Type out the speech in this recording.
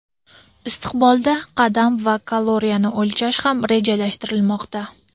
Istiqbolda qadam va kaloriyani o‘lchash ham rejalashtirilmoqda.